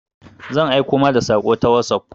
Zan aiko ma da saƙo ta wosof.